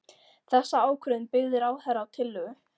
Þessa ákvörðun byggði ráðherra á tillögu